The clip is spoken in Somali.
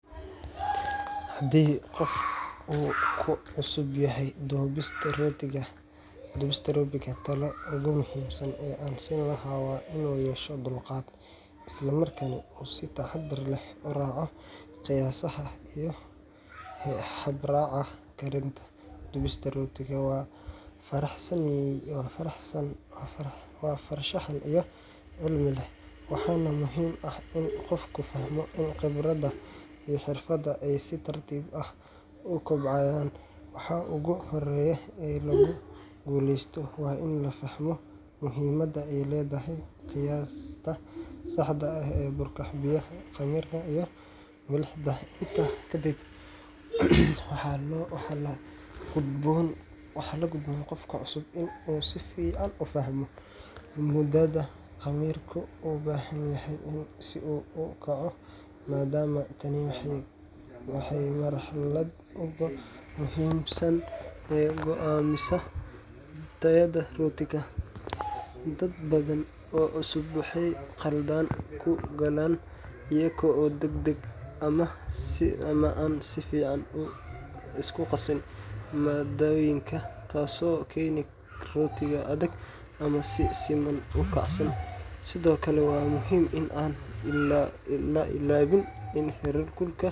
Haddii qof uu ku cusub yahay dubista rootiga, talada ugu muhiimsan ee aan siin lahaa waa inuu yeesho dulqaad, isla markaana uu si taxaddar leh u raaco qiyaasaha iyo habraaca karinta. Dubista rootigu waa farshaxan iyo cilmiba leh, waxaana muhiim ah in qofku fahmo in khibradda iyo xirfadda ay si tartiib ah u kobcayaan. Waxa ugu horreeya ee lagu guuleysto waa in la fahmo muhiimadda ay leedahay qiyaasta saxda ah ee burka, biyaha, khamiirka, iyo milixda. Intaa kadib, waxa la gudboon qofka cusub in uu si fiican u fahmo mudada khamiirku u baahan yahay si uu u kaco, maadaama tani tahay marxaladda ugu muhiimsan ee go’aamisa tayada rootiga. Dad badan oo cusub waxay khalad ku galaan iyaga oo degdega ama aan si fiican u isku qasin maaddooyinka, taasoo keenta rooti adag ama aan si siman u kacsan. Sidoo kale, waa muhiim in aan la iloobin in heerkulka.